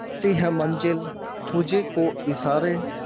करती है मंजिल तुझ को इशारे